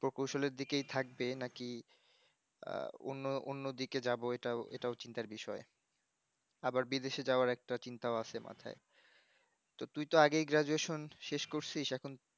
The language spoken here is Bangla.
প্রকৌশল এর দিকে থাকবে নাকি আহ অন্য অন্য দিকে যাব এটাও এটাও চিন্তার বিষয় আবার বিদেশে জাউয়ার একটা চিন্তা আছে মাথায় তো তুই ত আগেই graduation শেষ করছিসএখন